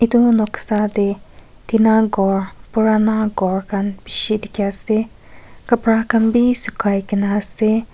etu khan noksa teh tina ghor purana ghor khan bishi dikhi ase kapra khan be sukhai ke na ase.